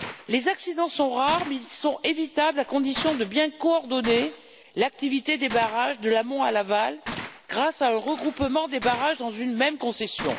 Les accidents sont rares mais sont évitables, à condition de bien coordonner l'activité des barrages, d'amont en aval, grâce à un regroupement des barrages dans une même concession.